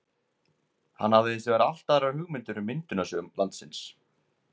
Hann hafði hins vegar allt aðrar hugmyndir um myndunarsögu landsins.